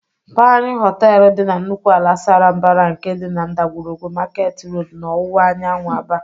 Panyụ Họteelụ dị na nnukwu ala sara mbara nke dị na ndagwurugwu Market Road n'ọwụwa anyanwụ Aba.